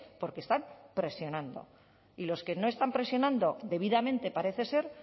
porque están presionando y los que no están presionando debidamente parece ser